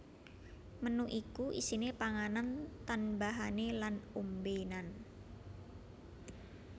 Menu iku isine panganan tanbahane lan ombenan